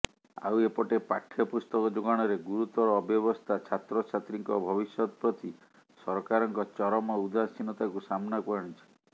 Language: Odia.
ଆଉ ଏପଟେ ପାଠ୍ୟପୁସ୍ତକ ଯୋଗାଣରେ ଗୁରୁତର ଅବ୍ୟବସ୍ଥା ଛାତ୍ରଛାତ୍ରୀଙ୍କ ଭବିଷ୍ୟତ ପ୍ରତି ସରକାରଙ୍କ ଚରମ ଉଦାସୀନତାକୁ ସାମ୍ନାକୁ ଆଣିଛି